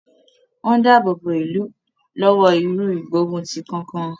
Wọ́n ń dáàbò bo ìlú lọ́wọ́ irú ìgbóguntì kankan.